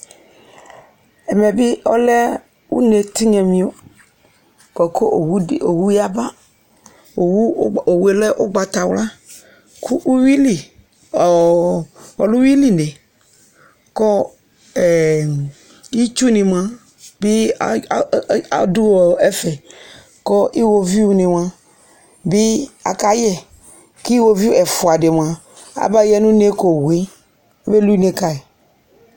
Ɛmɛ bi ɔlɛ une tinyamio, buakʋ owu yaba Owue lɛ ugbatawlaKʋ uwili , alɛ uwiline ɔɔ ulɛ uwili neKʋ ɛɛ itsu ni mua, bi aa, adʋ ɛfɛ Kʋ iwoviʋ ni mía bi akayɛKʋ iwoviʋ ɛfua di mua, abaya nune kowue Agbeli une kayi